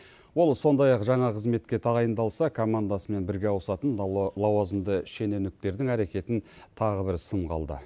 ол сондай ақ жаңа қызметке тағайындалса командасымен бірге ауысатын лауазымды шенеуніктердің әрекетін тағы бір сынға алды